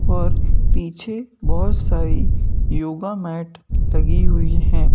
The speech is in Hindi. और पीछे बहुत सारी योगा मॅट लगी हुई हैं।